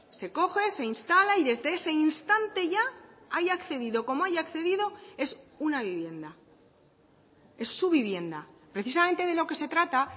se coge se instala y desde ese instante ya haya accedido como haya accedido es una vivienda es su vivienda precisamente de lo que se trata